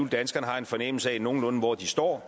at danskerne har en fornemmelse af nogenlunde hvor de står